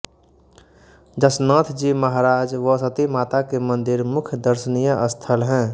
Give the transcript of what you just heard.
जसनाथ जी महाराज व सती माता के मंदिर मुख्य दर्शनीय स्थल हैं